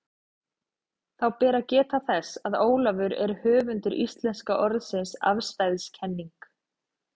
Þá ber að geta þess, að Ólafur er höfundur íslenska orðsins afstæðiskenning.